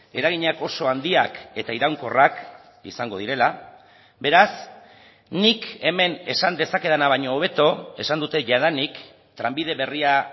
eraginak oso handiak eta iraunkorrak izango direla beraz nik hemen esan dezakedana baino hobeto esan dute jadanik trenbide berria